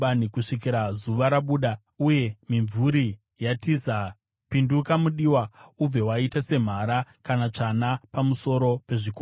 Kusvikira zuva rabuda uye mimvuri yatiza, pinduka, mudiwa, ubve waita semhara kana tsvana pamusoro pezvikomo.